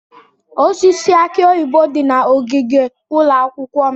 Osisi aki oyibo dị na ogige ụlọ akwụkwọ m.